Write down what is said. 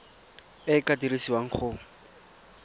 e e ka dirisiwang go